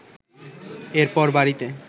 এরপর বাড়িতে